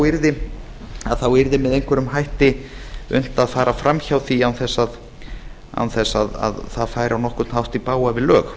yrði með einhverjum ætti unnt að fara fram hjá því án þess að það færi á nokkurn hátt í bága við lög